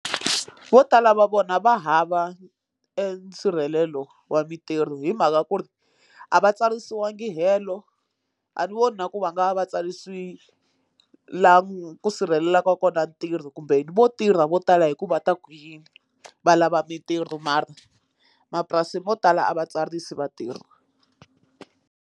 Vo tala va vona va hava e nsirhelelo wa mintirho hi mhaka ku ri a va tsarisiwangi hello a ni voni na ku va nga va va tsarisile laha ku sirhelelaka kona ntirho kumbe vo tirha vo tala hi ku va ta ku yini va lava mintirho mara mapurasi mo tala a va tsarisi vatirhi.